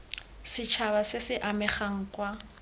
setšhaba se se amegang kwa